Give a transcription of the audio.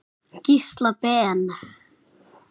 Gísla Ben.